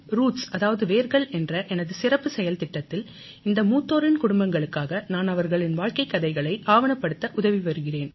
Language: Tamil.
ரூட்ஸ் அதாவது வேர்கள் என்ற எனது சிறப்புச் செயல்திட்டத்தில் இந்த மூத்தோரின் குடும்பங்களுக்காக நான் அவர்களின் வாழ்க்கைக் கதைகளை ஆவணப்படுத்த உதவி வருகிறேன்